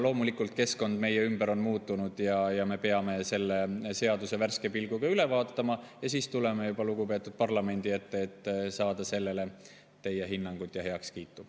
Loomulikult, keskkond meie ümber on muutunud, me peame selle seaduse värske pilguga üle vaatama ja siis tuleme juba lugupeetud parlamendi ette, et saada sellele teie hinnangut ja heakskiitu.